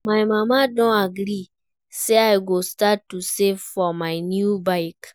My mama don agree say I go start to save for my new bike